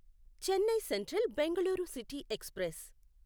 Chennai central Bengaluru city express